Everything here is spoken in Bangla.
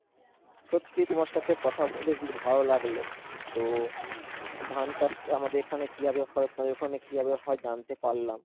সত্যিই তোমার সাথে কথা বলে আজকে ভালো লাগলো তো ধান চাষ আমাদের এখানে কিভাবে হয় তোমাদের ওখানে কিভাবে হয় জানতে পারলাম।